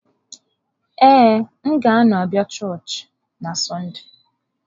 Ee, m ga-anọ abịa chọọchị na Sọnde